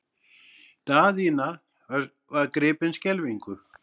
Daðína var gripin skelfingu.